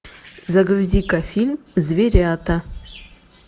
загрузи ка фильм зверята